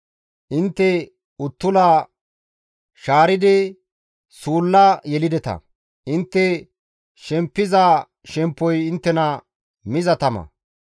Intte uttula shaaridi suulla yelideta. Intte shemppiza shemppoy inttena miza tama.